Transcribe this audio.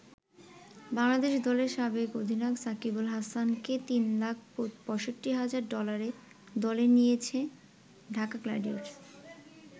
বাংলাদেশ দলের সাবেক অধিনায়ক সাকিব আল হাসানকে তিন লাখ ৬৫ হাজার ডলারে দলে নিয়েছে ঢাকা গ্লাডিয়েটর্স।